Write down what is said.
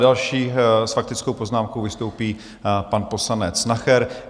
Další s faktickou poznámkou vystoupí pan poslanec Nacher.